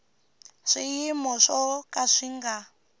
swiyimo swo ka swi nga